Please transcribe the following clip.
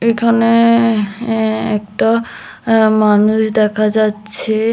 এখানে এ একটা আ্য মানুষ দেখা যাচ্ছে।